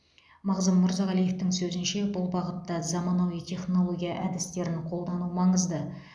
мағзұм мырзағалиевтің сөзінше бұл бағытта заманауи технология әдістерін қолдану маңызды